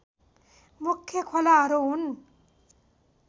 मुख्य खोलाहरू हुन्